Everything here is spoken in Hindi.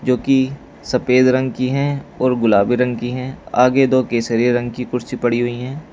जो कि सफेद रंग की हैं और गुलाबी रंग की हैं आगे दो केसरी रंग की कुर्सी पड़ी हुई हैं।